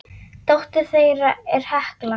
Dóttir þeirra er Hekla.